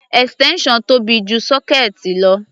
Extension tóbi ju sọ́kéẹ̀tì lọ.